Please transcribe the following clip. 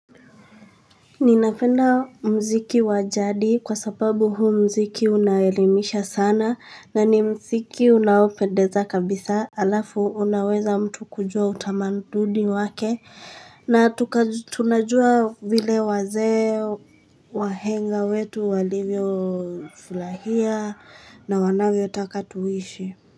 Ninapenda mziki wa jadi kwa sababu huu mziki unaelimisha sana na ni mziki unaopendeza kabisa alafu unaweza mtu kujua utamaduni wake na tunajua vile wazee wahenga wetu walivyo furahia na wanavyo taka tuishi.